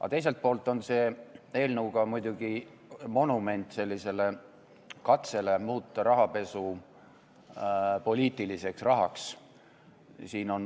Aga teiselt poolt on see eelnõu muidugi monument katsele muuta rahapesu poliitiliseks rahaks.